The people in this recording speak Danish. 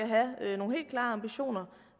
og ambitioner